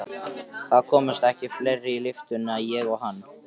Það komust ekki fleiri í lyftuna en ég og hann.